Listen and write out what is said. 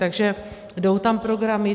Takže jdou tam programy.